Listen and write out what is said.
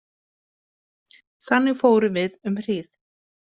Þannig fórum við um hríð.